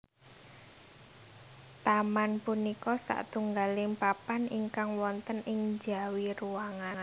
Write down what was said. Taman punika satunggaling papan ingkang wonten ing njawi ruangan